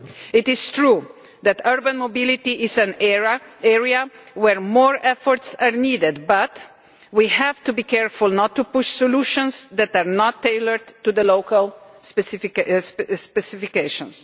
It is true that urban mobility is an area where more efforts are needed, but we have to be careful not to push solutions that are not tailored to the local specifications.